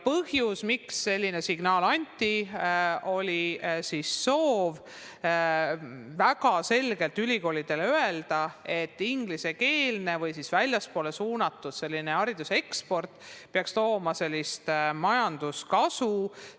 Põhjus, miks selline signaal anti, oli soov ülikoolidele väga selgelt öelda, et ingliskeelse hariduse pakkumine või hariduse eksport peaks tooma majanduslikku kasu.